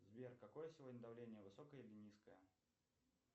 сбер какое сегодня давление высокое или низкое